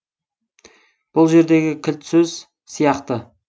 бұл жердегі кілт сөз сияқты